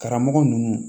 Karamɔgɔ ninnu